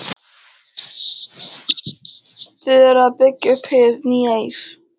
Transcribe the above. Þið eruð að byggja upp hið nýja Ís